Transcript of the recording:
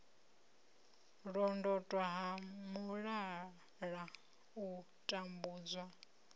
londotwa ha mulala u tambudzwa